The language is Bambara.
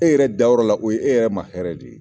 E yɛrɛ dayɔrɔ la , o ye e yɛrɛ ma hɛrɛ de ye.